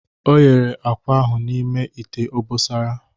O yere akwa ahụ n'ime ite obosara